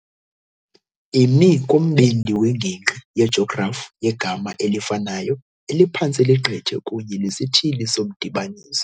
Imi kumbindi wengingqi yejografi yegama elifanayo eliphantse ligqithe kunye nesithili somdibaniso